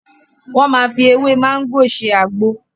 Wọ́n máa fi ewé mágò ṣe àgbo.